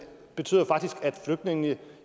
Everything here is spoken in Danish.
betyder jo faktisk at flygtningene